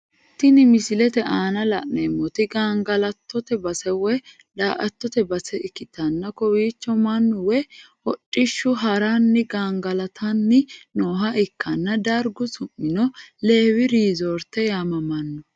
Tinni misilete aanna la'neemoti gangalattote base woyi daa'atote base ikitanna kowicho Manu woyi hodhishinni haranni gangalatanni nooha ikanna dargu su'mino leewi riizoorte yaamamano.